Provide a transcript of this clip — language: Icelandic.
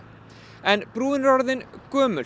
en brúin er orðin gömul